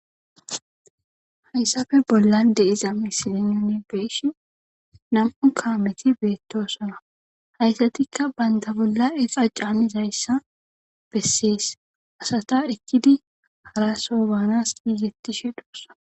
hayssafe bolla de iza misilenone beeshi nam7u kaameti beettosana hayssatikka baynda bolla eqa can izayssa bessees asata ekkidi hara sobaanas giizetti she dhosana